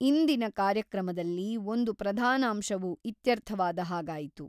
ಇಂದಿನ ಕಾರ್ಯಕ್ರಮದಲ್ಲಿ ಒಂದು ಪ್ರಧಾನಾಂಶವು ಇತ್ಯರ್ಥವಾದ ಹಾಗಾಯಿತು.